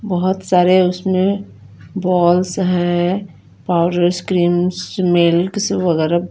बोहोत सारे उसमे बॉल्स है पाउडर स्क्रीन मिल्क सब वगेहरा--